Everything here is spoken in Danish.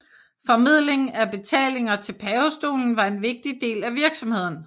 Formidling af betalinger til pavestolen var en vigtig del af virksomheden